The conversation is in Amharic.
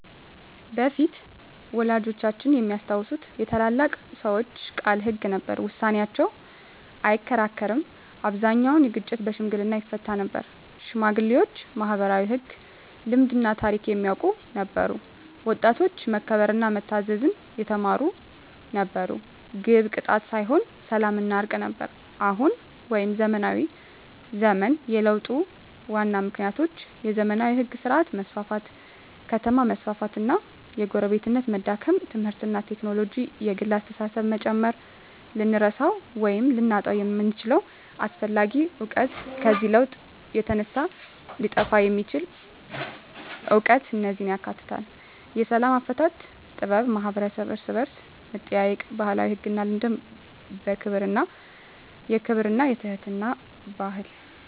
በፊት (ወላጆቻችን የሚያስታውሱት) የታላላቅ ሰዎች ቃል ሕግ ነበር፤ ውሳኔያቸው አይከራከርም አብዛኛውን ግጭት በሽምግልና ይፈታ ነበር ሽማግሌዎች ማኅበራዊ ሕግ፣ ልማድና ታሪክ የሚያውቁ ነበሩ ወጣቶች መከበርና መታዘዝ የተማሩ ነበሩ ግብ ቅጣት ሳይሆን ሰላምና እርቅ ነበር አሁን (ዘመናዊ ዘመን) የለውጡ ዋና ምክንያቶች የዘመናዊ ሕግ ሥርዓት መስፋፋት ከተማ መስፋፋት እና የጎረቤትነት መዳከም ትምህርትና ቴክኖሎጂ የግል አስተሳሰብን መጨመር ልንረሳው ወይም ልናጣው የምንችለው አስፈላጊ እውቀት ከዚህ ለውጥ የተነሳ ሊጠፋ የሚችል እውቀት እነዚህን ያካትታል፦ የሰላም አፈታት ጥበብ የማኅበረሰብ እርስ–በርስ መጠያየቅ የባህላዊ ሕግና ልማድ የክብርና የትሕትና ባህል